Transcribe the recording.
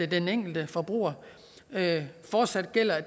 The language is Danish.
den enkelte forbruger fortsat gælder